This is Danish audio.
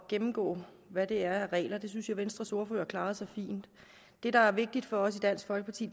gennemgå hvad der er af regler det synes jeg at venstres ordfører klarede så fint det der er vigtigt for os i dansk folkeparti